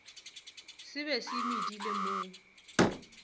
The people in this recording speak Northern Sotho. se be se medile mo